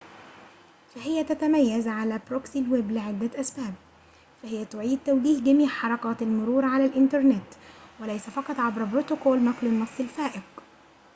فهي تتميزعلى بروكسي الويب لعدة أسباب فهي تعيد توجيه جميع حركات المرور على الإنترنت وليس فقط عبر بروتوكول نقل النص الفائق